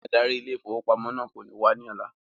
Adarí ile-ìfowópamó náà kò ní wá ní ọ̀la